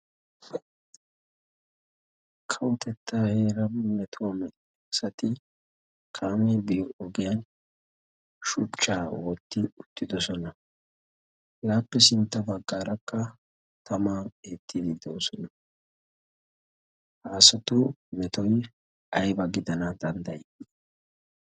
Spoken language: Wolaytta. kawotetta heera metuwaa asati kaame biyo ogiyan shuchchaa wootti uttidosona. hegaappe sintta baggaarakka taman eetti diidoosona haasatu metoy ayba gidana danddayi?